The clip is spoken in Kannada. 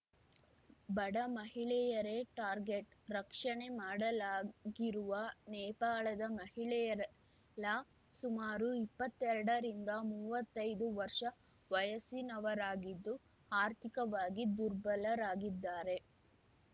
ಬಡ ಮಹಿಳೆಯರೇ ಟಾರ್ಗೆಟ್‌ ರಕ್ಷಣೆ ಮಾಡಲಾಗಿರುವ ನೇಪಾಳದ ಮಹಿಳೆಯರೆಲ್ಲಾ ಸುಮಾರು ಇಪ್ಪತ್ತೆರಡ ರಿಂದ ಮೂವತ್ತೈದು ವರ್ಷ ವಯಸ್ಸಿನವರಾಗಿದ್ದು ಆರ್ಥಿಕವಾಗಿ ದುರ್ಬಲರಾಗಿದ್ದಾರೆ